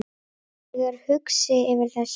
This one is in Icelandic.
Ég er hugsi yfir þessu.